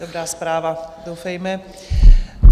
Dobrá zpráva, doufejme.